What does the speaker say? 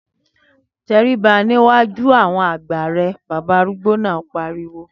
Tẹríba níwájú àwọn àgbà rẹ, bàbá arúgbó náà pariwo